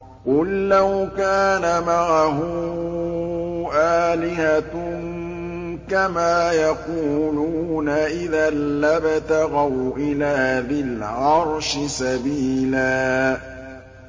قُل لَّوْ كَانَ مَعَهُ آلِهَةٌ كَمَا يَقُولُونَ إِذًا لَّابْتَغَوْا إِلَىٰ ذِي الْعَرْشِ سَبِيلًا